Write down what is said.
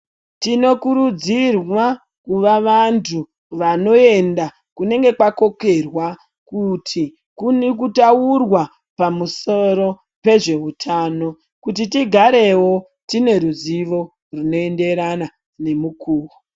Tino kurudzirwa kuva vandu vano enda kunenge kwakokerwa kuti kuri kutaurwa pamusuro pezvehwu hutano kuti tigarewo tine ruzivo rwunoenderana ne mukowo.